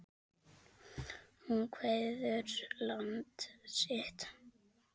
Hún kveður land sitt.